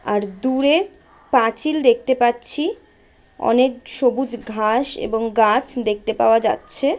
আর দূরে পাঁচিল দেখতে পাচ্ছি অনেক সবুজ ঘাস এবং গাছ দেখতে পাওয়া যাচ্ছে--